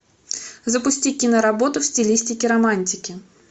запусти киноработу в стилистике романтики